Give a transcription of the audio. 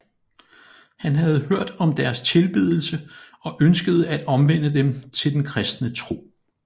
Han havde hørt om deres tilbedelse og ønskede at omvende dem til den kristne tro